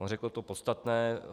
On řekl to podstatné.